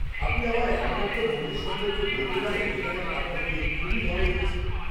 -আপনি আমায় এমন একটা মন্দির সম্পর্কে বলতে পারেন যেখানে আপনার গিয়ে খুবই ভালো লেগেছিল?